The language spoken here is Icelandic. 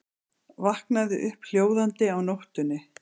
Vaknaði upp hljóðandi á nóttunni.